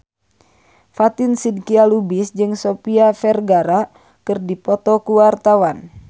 Fatin Shidqia Lubis jeung Sofia Vergara keur dipoto ku wartawan